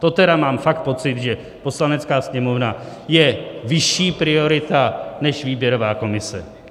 To teda mám fakt pocit, že Poslanecká sněmovna je vyšší priorita než výběrová komise.